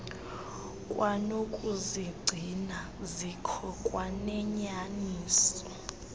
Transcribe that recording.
kwanokuzigcina zikho kwanenyaniso